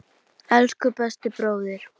Elsku besti bróðir.